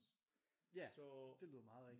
Ja det lyder meget rigtigt